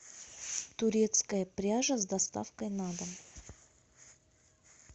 турецкая пряжа с доставкой на дом